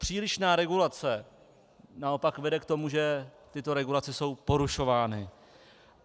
Přílišná regulace naopak vede k tomu, že tyto regulace jsou porušovány.